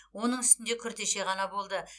оның үстінде күртеше ғана болды